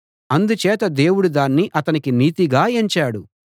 అందుచేత దేవుడు దాన్ని అతనికి నీతిగా ఎంచాడు